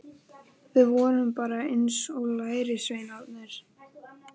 Við vorum bara eins og lærisveinarnir.